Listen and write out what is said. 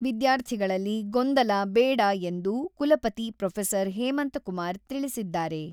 ವಿದ್ಯಾರ್ಥಿಗಳಲ್ಲಿ ಗೊಂದಲ ಬೇಡ ಎಂದು ಕುಲಪತಿ ಪ್ರೊಫೆಸರ್ ಹೇಮಂತ ಕುಮಾರ್ ತಿಳಿಸಿದ್ದಾರೆ.